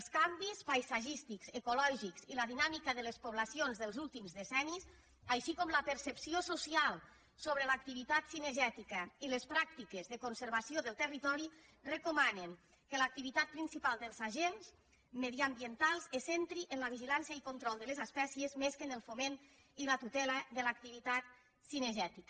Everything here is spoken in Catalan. els canvis paisatgístics ecològics i la dinàmica de les poblacions dels últims decennis així com la percep·ció social sobre l’activitat cinegètica i les pràctiques de conservació del territori recomanen que l’activitat principal dels agents mediambientals se centri en la vi·gilància i el control de les espècies més que en el fo·ment i la tutela de l’activitat cinegètica